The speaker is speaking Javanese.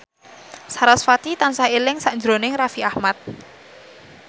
sarasvati tansah eling sakjroning Raffi Ahmad